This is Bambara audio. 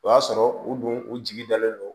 O y'a sɔrɔ u dun u jigi dalen don